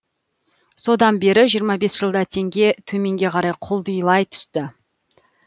содан бері жиырма бес жылда теңге төменге қарай құлдилай түсті